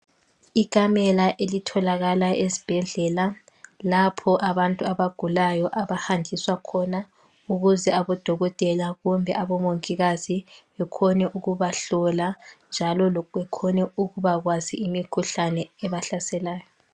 ikamela elitholakala esibhedlela lapho abantu abaulayo abahanjiswa ukuze abadokotela kumbe abomongikazi bekhone ukubahlola njalo bekhone ukuba kwazi imkhuhlane ebahlaselayo